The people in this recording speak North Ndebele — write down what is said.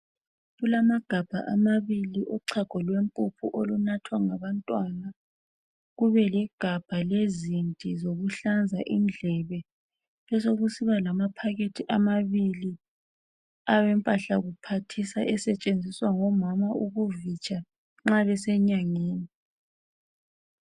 Kulamagabha amabili ochago lwempuphu olunathwa ngabantwana kube legabha lezinti zokuhlanza indlebe besekusiba lamaphakethi amabili awempahla kuphathisa esetshenziswa ngomama ukuvitsha nxa besenyangeni.